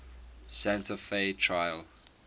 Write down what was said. santa fe trail